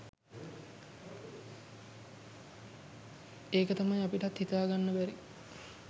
ඒක තමයි අපිටත් හිතා ගන්න බැරි